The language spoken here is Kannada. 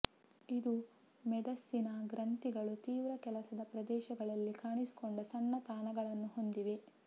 ಇದು ಮೇದಸ್ಸಿನ ಗ್ರಂಥಿಗಳು ತೀವ್ರ ಕೆಲಸದ ಪ್ರದೇಶಗಳಲ್ಲಿ ಕಾಣಿಸಿಕೊಂಡ ಸಣ್ಣ ತಾಣಗಳು ಹೊಂದಿದೆ